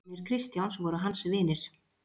Vinir Kristjáns voru hans vinir.